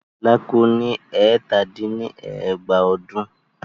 Fela kú ní ẹ̀tàdín-ní-ẹgbàá ọdún?